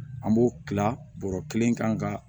An b'o kila bɔrɔ kelen kan ka